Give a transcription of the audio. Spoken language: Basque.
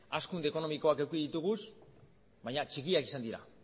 hazkunde ekonomikoak eduki ditugu baina txikiak izan dira